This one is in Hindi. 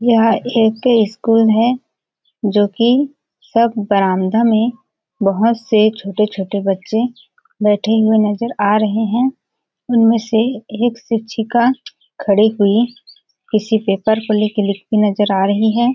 यह एक ठे स्कूल है जोकि सब बरामदा में बहुत से छोटे-छोटे बच्चे बैठे हुए नजर आ रहे है उनमे से एक शिक्षिका खड़े हुई किसी पेपर को ले के लिखती नजर आ रही हैं।